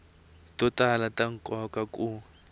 to tala ta nkoka ku